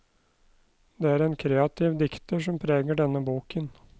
Det er en kreativ dikter som preger denne boken.